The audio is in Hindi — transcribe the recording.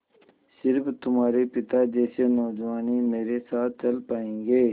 स़िर्फ तुम्हारे पिता जैसे नौजवान ही मेरे साथ चल पायेंगे